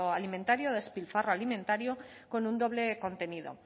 alimentario despilfarro alimentario con un doble contenido